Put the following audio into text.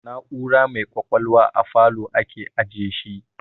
Na'ura mai kwakwalwa a falow ake ajiyeshi